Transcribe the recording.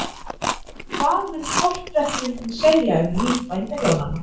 Hvað mun portrettmyndin segja um líf bændahjónanna?